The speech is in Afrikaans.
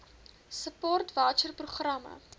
support voucher programme